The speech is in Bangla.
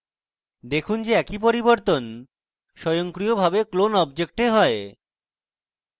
দেখুন যে একই পরিবর্তন স্বয়ংক্রিয়ভাবে ক্লোন object হয়